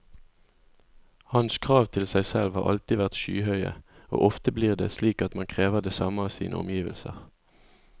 Hans krav til seg selv har alltid vært skyhøye, og ofte blir det slik at man krever det samme av sine omgivelser.